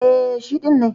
E, shi ɗin ne.